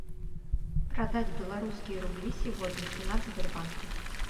продать белорусские рубли сегодня цена в сбербанке